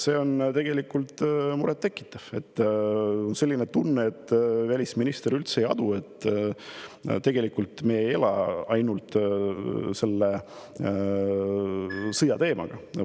See on tegelikult muret tekitav, sest on selline tunne, et välisminister üldse ei adu, et me ei ela ainult selle sõja teemaga.